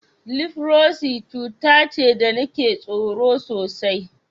Lifrosi cuta ce da nake tsoro sosai.